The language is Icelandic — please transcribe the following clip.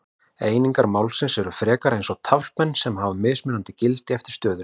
Einingar málsins eru frekar eins og taflmenn sem hafa mismunandi gildi eftir stöðunni.